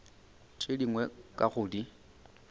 tše dingwe ka go di